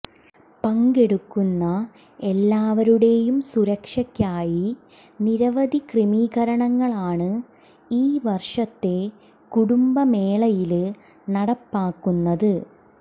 പങ്കെടുക്കുന്ന എല്ലാവരുടെയും സുരക്ഷക്കായി നിരവധി ക്രമീകരണങ്ങളാണ് ഈ വര്ഷത്തെ കുടുംബ മേളയില് നടപ്പാക്കുന്നത്